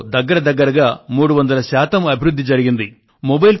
అందులో దగ్గర దగ్గరగా 300 శాతం అభివృద్ధి జరిగింది